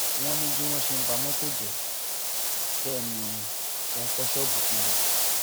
wọn ní bí wọn ṣe ń ba mọtò jẹ bẹẹ ni wọn ń fọ ṣọọbù kiri